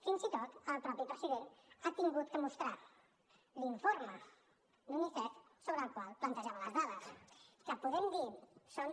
fins i tot el mateix president ha hagut de mostrar l’informe d’unicef sobre el qual plantejava les dades que podem dir que són